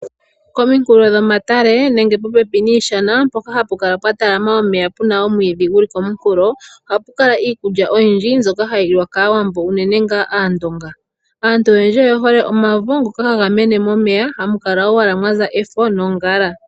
Pominkulo dhomatale nenge popeni niishana mpoka hapu kala pwa talama omeya puna omwiidhi guli komunkulo, ohapu kala iikulya oyindji mbyoka hayi liwa kAawambo unene ngaa Aandonga. Aantu oyendji oye hole omavo ngoka haga mene momeya hamu kala owala mwa za efo nongala.